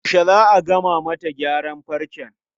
Yaushe za a gama mata gyaran farcen?